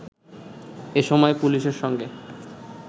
এসময় পুলিশের সঙ্গে